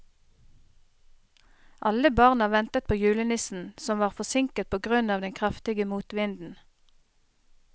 Alle barna ventet på julenissen, som var forsinket på grunn av den kraftige motvinden.